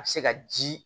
A bɛ se ka ji